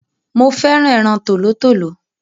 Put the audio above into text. Mo féràn ẹran tòlótòló